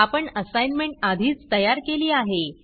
आपण असाईनमेंट आधीच तयार केली आहे